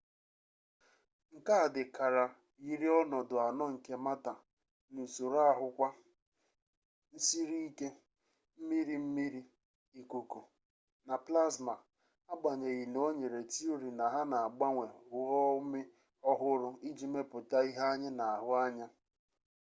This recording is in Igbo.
nke a dị kara yiri ọnọdụ anọ nke mata n’usoro ahụ kwa: nsiriike mmiri mmiri ikuku na plasma agbanyeghị na o nyere tiori na ha na-agbanwe ghụọ umi ọhụrụ iji mepụta ihe anyị na-ahụ anya